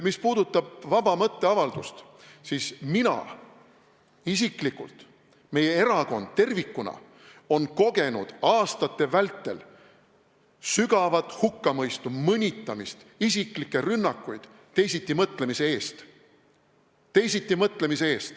Mis puudutab vaba mõtteavaldust, siis mina isiklikult, meie erakond tervikuna on kogenud aastate vältel sügavat hukkamõistu, mõnitamist, isiklikke rünnakuid teisitimõtlemise eest.